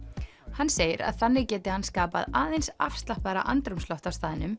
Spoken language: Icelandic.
hann segir að þannig geti hann skapað aðeins afslappaðra andrúmsloft á staðnum